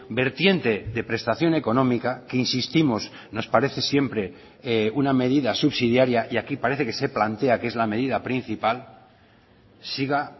vertiente de prestación económica que insistimos nos parece siempre una medida subsidiaria y aquí parece que se plantea que es la medida principal siga